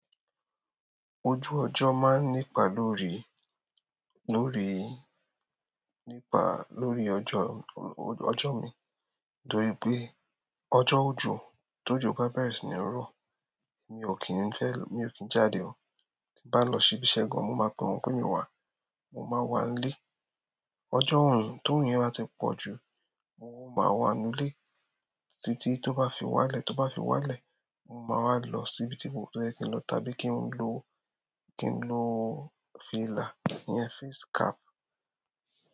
Ojú ọjọ maa n nípa lórí, lórí, nípa lórí ọjọ, ọjọ mii torí pe ọjọ ojo, t'ojo ba bẹrẹ si ni rọ, mio kin fẹ mio kin jáde mọ tí bá lọ sí ibi iṣẹ́ gan, mo máa pe wọn pé mio wá, mo máa wà nílé. Ọjọ́ orun t'orun yẹn bá ti pọ̀ jù, mo máa wà nínú ilé títí tó bá fi wálẹ̀, tó bá fi wá lẹ̀, mo máa wá lọ sí ibi tí mo fẹ́ lọ tàbí kí n lo, kí n lo fìlà iyẹn, face cap.